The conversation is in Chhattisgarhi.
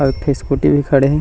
आऊ एक ठो स्कूटी भी खड़े हे।